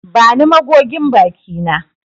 Bani magogin baki na.